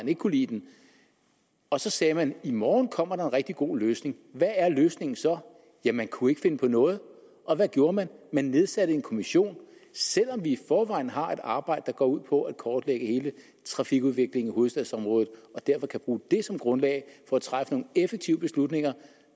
ikke kunne lide den og så sagde man i morgen kommer der en rigtig god løsning hvad er løsningen så ja man kunne ikke finde på noget og hvad gjorde man man nedsatte en kommission selv om vi i forvejen har et arbejde der går ud på at kortlægge hele trafikudviklingen i hovedstadsområdet og derfor kan bruge det som grundlag for at træffe nogle effektive beslutninger